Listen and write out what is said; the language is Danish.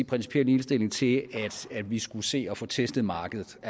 principiel indstilling til at vi skulle se at få testet markedet og